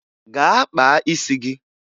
Gaa kpaa isi gị!